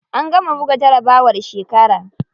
An gama buga jarabawar shekara.